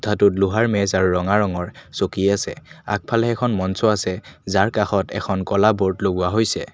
কোঠাটোত লোহাৰ মেজ আৰু ৰঙা ৰঙৰ চকী আছে আগফালে এখন মঞ্চ আছে যাৰ কাষত এখন ক'লা ব'ৰ্ড লগোৱা হৈছে।